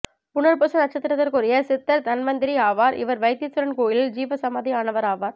புனர்பூச நட்சத்திரத்திற்குரிய சித்தர் தன்வந்திரி ஆவார் இவர் வைத்தீஸ்வரன் கோயிலில் ஜீவ சமாதி ஆனவர் ஆவார்